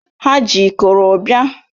Ha ji ịkọrọ bia